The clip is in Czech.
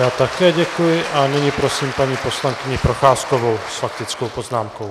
Já také děkuji a nyní prosím paní poslankyni Procházkovou s faktickou poznámkou.